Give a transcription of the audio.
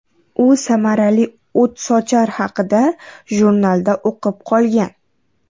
U samarali o‘tsochar haqida jurnalda o‘qib qolgan.